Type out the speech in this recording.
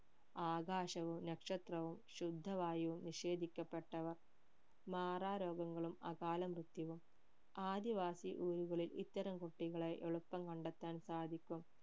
ആകാശവും നക്ഷത്രവും ശുദ്ധവായുവും നിഷേധിക്കപെട്ടവർ മാറാരോഗങ്ങളും കാല മൃത്യുവും ആദ്യവാസി ഊരുകളിൽ ഇത്തരം കുട്ടികളെ എളുപ്പം കണ്ടെത്താൻ സാധിക്കും